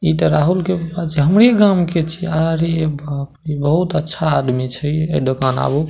इ ते राहुल के अच्छा हमरे गाम के छीये आरे बाप रे बहुत अच्छा आदमी छै ये दोकान आबू।